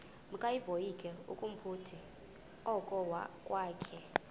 makevovike kumphuthumi okokwakhe